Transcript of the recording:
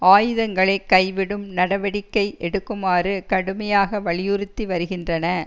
ஆயுதங்களை கை விடும் நடவடிக்கை எடுக்குமாறு கடுமையாக வலியுறுத்தி வருகின்றன